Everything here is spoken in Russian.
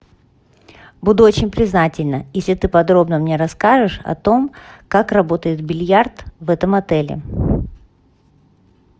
буду очень признательна если ты подробно мне расскажешь о том как работает бильярд в этом отеле